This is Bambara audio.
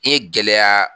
I ye gɛlɛya